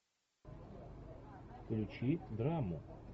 включи драму